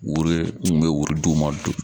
Woro kun bɛ wari d'u ma